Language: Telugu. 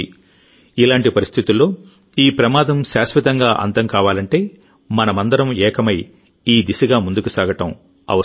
ఇలాంటి పరిస్థితుల్లో ఈ ప్రమాదం శాశ్వతంగా అంతం కావాలంటే మనమందరం ఏకమై ఈ దిశగా ముందుకు సాగడం అవసరం